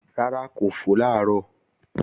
Rárá kò fò làárọ̀